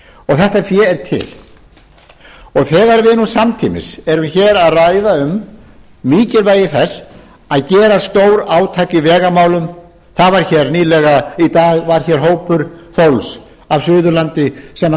þetta fé er til þegar við nú samtímis erum hér að ræða um mikilvægi þess að gera stórátak í vegamálum í dag var hér hópur fólks af suðurlandi sem